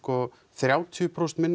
þrjátíu prósent minna